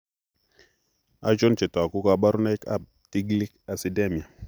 Achon chetogu ak kaborunoik ab Tiglic acidemia?